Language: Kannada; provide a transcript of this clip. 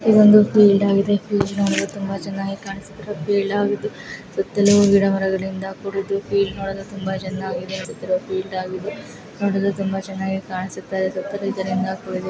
ಇದೊಂದು ಫೀಲ್ಡ್ ಆಗಿದೆ ಫೀಲ್ಡ್ ನೋಡಲು ತುಂಬಾ ಚೆನ್ನಾಗಿ ಕಾಣಿಸುತ್ತಿದೆ ಫೀಲ್ಡ್ ಆಗಿದ್ದು ಸುತ್ತಲೂ ಗಿಡಮರಗಳಿಂದ ಕೂಡಿದ್ದು ಫೀಲ್ಡ್ ನೋಡಲು ತುಂಬಾ ಚೆನ್ನಾಗಿದೆ ನೋಡಲು ತುಂಬಾ ಚೆನ್ನಾಗಿ ಕಾಣಿಸುತ್ತಿರುವ ಫೀಲ್ಡ್ ಆಗಿದ್ದು ನೋಡಲು ತುಂಬಾ ಚೆನ್ನಾಗಿ ಕಾಣಿಸುತ್ತಾ ಇದೆ ಸುತ್ತಲೂ ಇದರಿಂದ ಕೂಡಿದೆ.